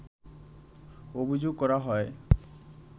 অভিযোগ করা হয়